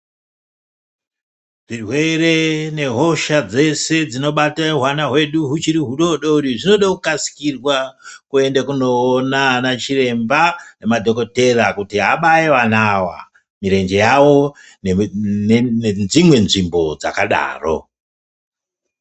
Zvirwere mehosha dzese dzinobata hwana hwedu huchiri hudodori zvode kukasikirwa kuenda kunoona vana chiremba nemadhogodheya kuti abaye vane awa mirenje yawo nedzimwe nzvimbo dzakadaro.